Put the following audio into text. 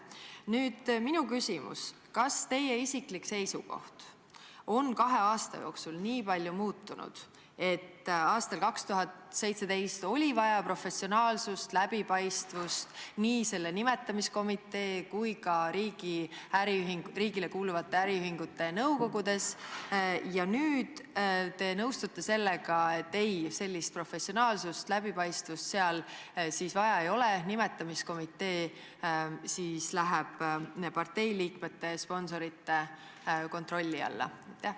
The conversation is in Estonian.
Nüüd minu küsimus: kas teie isiklik seisukoht on kahe aasta jooksul nii palju muutunud, et aastal 2017 oli vaja professionaalsust, läbipaistvust nii selle nimetamiskomitee kui ka riigile kuuluvate äriühingute nõukogudes, aga nüüd te nõustute sellega, et ei, sellist professionaalsust ja läbipaistvust seal vaja ei ole, nimetamiskomitee läheb parteiliikmete sponsorite kontrolli alla?